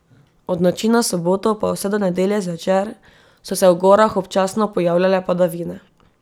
Od noči na soboto pa vse do nedelje zvečer so se v gorah občasno pojavljale padavine.